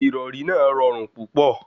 Ìrọrí náà rọrùn púpọ̀.